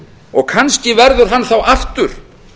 og kannski verður hann þá aftur